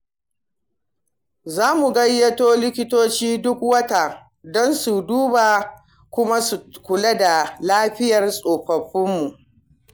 Za mu gayyato likitoci duk wata don su duba kuma su kula da lafiyar tsofaffinmu.